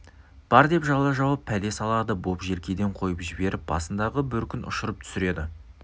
бар деп жала жауып пәле салады боп желкеден қойып жіберіп басындағы бөркін ұшырып түсіреді